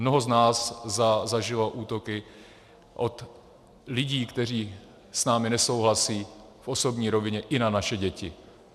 Mnoho z nás zažilo útoky od lidí, kteří s námi nesouhlasí, v osobní rovině, i na naše děti.